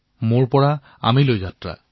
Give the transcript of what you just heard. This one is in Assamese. মোৰ অহমৰ পৰা বয়মলৈ যাত্ৰা